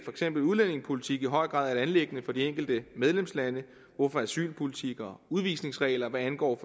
eksempel udlændingepolitik i høj grad et anliggende for de enkelte medlemslande hvorfor asylpolitik og udvisningsregler hvad angår